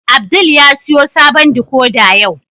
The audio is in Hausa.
Abdul ya siyo sabon "decoder" yau.